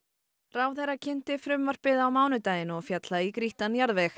ráðherra kynnti frumvarpið á mánudaginn og féll það í grýttan jarðveg